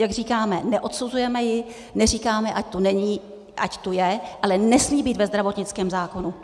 Jak říkáme, neodsuzujeme ji, neříkáme, ať tu není, ať tu je, ale nesmí být ve zdravotnické zákonu.